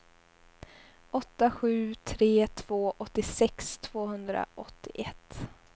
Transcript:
åtta sju tre två åttiosex tvåhundraåttioett